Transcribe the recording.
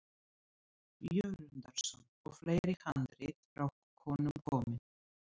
Jörundarson og fleiri handrit frá honum komin.